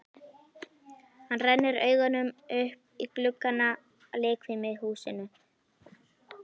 Hann rennir augunum upp í gluggana á leikfimihúsinu.